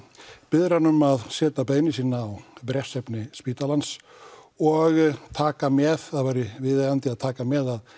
biður hann um að setja beiðni sína á bréfsefni spítalans og taka með það væri viðeigandi að taka með